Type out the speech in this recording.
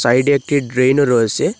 সাইডে একটি ড্রেন ও রয়েসে।